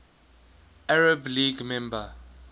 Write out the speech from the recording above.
arab league member